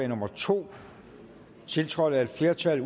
nummer to tiltrådt af et flertal